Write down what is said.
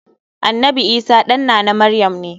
Annanbi Isah ɗan nana maryam ne.